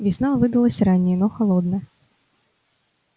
весна выдалась ранняя но холодная